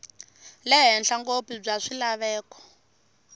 le henhla ngopfu bya swilaveko